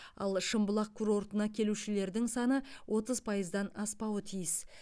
ал шымбұлақ курортына келушілердің саны отыз пайыздан аспауы тиіс